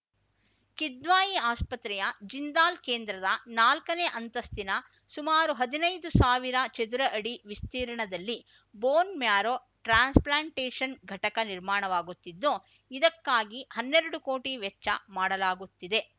ಕಿದ್ವಾಯಿ ಆಸ್ಪತ್ರೆಯ ಜಿಂದಾಲ್‌ ಕೇಂದ್ರದ ನಾಲ್ಕನೇ ಅಂತಸ್ತಿನ ಸುಮಾರು ಹದಿನೈದು ಸಾವಿರ ಚದರ ಅಡಿ ವಿಸ್ತೀರ್ಣದಲ್ಲಿ ಬೋನ್‌ ಮ್ಯಾರೋ ಟ್ರಾನ್ಸ್‌ಪ್ಲೆಂಟೇಷನ್‌ ಘಟಕ ನಿರ್ಮಾಣವಾಗುತ್ತಿದ್ದು ಇದಕ್ಕಾಗಿ ಹನ್ನೆರಡು ಕೋಟಿ ವೆಚ್ಚ ಮಾಡಲಾಗುತ್ತಿದೆ